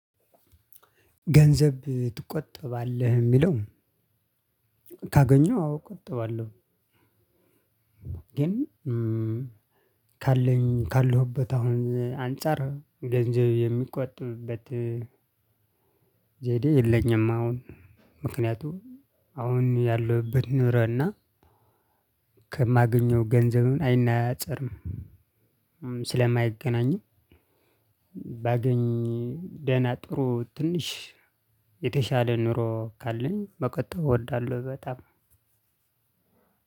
ገንዘብ ትቆጠባለህ የሚለው? ካገኘው አዎ እቆጠባለሁ። ግን ካለኝ ካለሁበት አሁን አንፃር ገንዘብ የሚቆጥብበት ዘዴ የለኝም። አሁን ምክንያቱም አሁን ያለሁበት ኑሮና ከማገኘው ገንዘብም አይነፃፀርም ስለማይገናኝም። ባገኝ ደህና ጥሩ ትንሽ የተሻለ ኑሮ ካለኝ መቆጥብ እወዳለሁ። በጣም